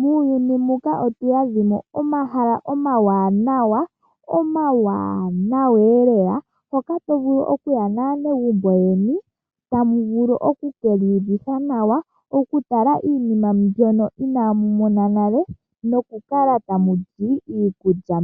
Muuyuni muka otuudhamo omahala omawanawa hoka tovulu okuya naanegumbo yoye tamuvulu okukiiyuvitha nawa, okutala iinima ndjoka iinaamu mona nale, nokukala tamuli iikulya